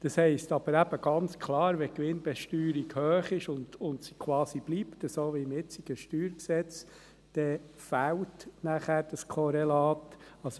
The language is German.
Das heisst aber eben ganz klar: Wenn die Gewinnbesteuerung hoch ist und quasi wie im jetzigen StG bleibt, dann fehlt dieses Korrelat nachher.